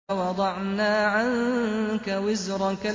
وَوَضَعْنَا عَنكَ وِزْرَكَ